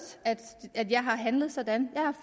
at jeg har handlet sådan jeg har